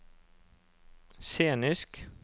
scenisk